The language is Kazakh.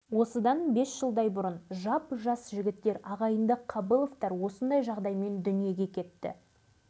бір баласының қазірге дейін жүрегі ауырады сонау ноғай сібірге барып емдетіп ота жасатыпты бірақ денсаулығы онша емес